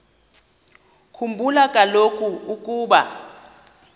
khumbula kaloku ukuba